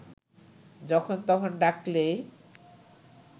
যখন তখন ডাকলেই